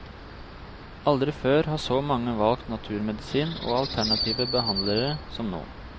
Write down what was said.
Aldri før har så mange valgt naturmedisin og alternative behandlere som nå.